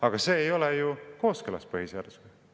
Aga see ei ole ju kooskõlas põhiseadusega.